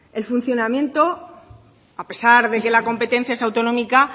el funcionamiento a pesar de que la competencia es autonómica